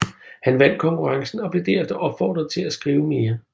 Han vandt konkurrencen og blev derefter opfordret til at skrive mere